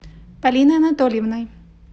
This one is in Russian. полиной анатольевной